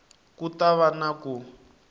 ku ta va na ku